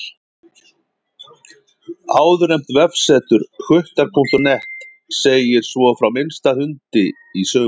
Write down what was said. Áðurnefnt vefsetur, hvuttar.net, segir svo frá minnsta hundi í sögunni.